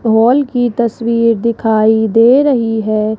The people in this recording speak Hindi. हॉल की तस्वीर दिखाई दे रही है।